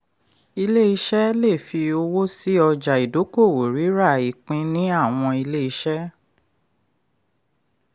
ilé iṣẹ́ lè fi ọwọ́ sí ọjà ìdókòòwò rírà ipín ní àwọn ilé iṣẹ́.